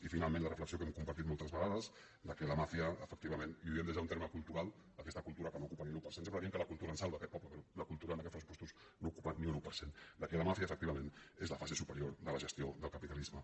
i finalment la reflexió que hem compartit més vegades que la màfia efectivament i ho diem des d’un terme cultural aquesta cultura que no ocupa ni l’un per cent sempre diem que la cultura ens salva a aquest poble però la cultura en aquests pressupostos no ocupa ni un un per cent és la fase superior de la gestió del capita·lisme